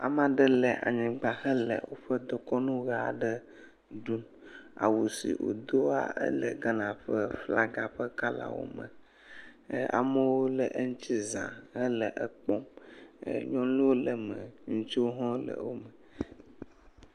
Ame aɖe le anyigba hele woƒe dekɔnu ʋe aɖe ɖum. Awu si woda la le Ghana ƒe flaga ƒe kɔlawo me. Amewo le eŋuti zã hele ekpɔm. Nyɔnuwo le eme eye ŋutsuwo le eme.